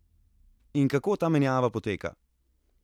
In kako ta menjava poteka?